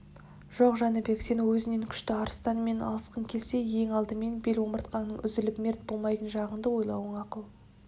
жоқ жәнібек сен өзіңнен күшті арыстанмен алысқың келсе ең алдыменен бел омыртқаңның үзіліп мерт болмайтын жағыңды ойлауың ақыл